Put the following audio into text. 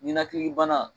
Ninakili bana